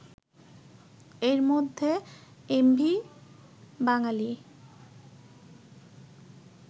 এর মধ্যে এমভি বাঙালি